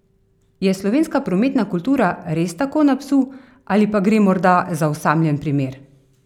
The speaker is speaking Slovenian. Je slovenska prometna kultura res tako na psu ali pa gre morda za osamljen primer?